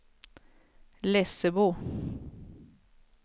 Lessebo